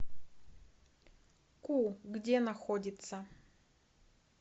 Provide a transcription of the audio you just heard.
ку где находится